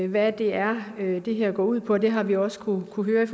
hvad det er det her går ud på det har vi også kunnet høre i